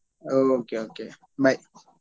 Okay okay bye.